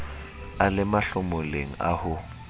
a le mahlomoleng a ho